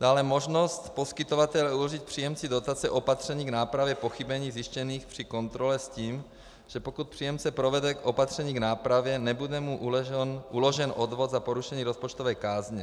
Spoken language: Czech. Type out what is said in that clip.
Dále možnost poskytovatele uložit příjemci dotace opatření k nápravě pochybení zjištěných při kontrole s tím, že pokud příjemce provede opatření k nápravě, nebude mu uložen odvod za porušení rozpočtové kázně.